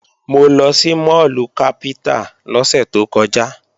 Mo lọ sí máàlù Capital lọ́sẹ̀ tó kọjá